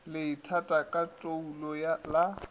le itata ka toulo la